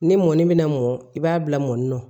Ni mɔni bɛna mɔn i b'a bila mɔni na